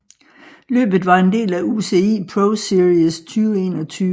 Løbet var en del af UCI ProSeries 2021